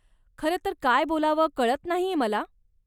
खरं तर काय बोलावं कळत नाहीय मला.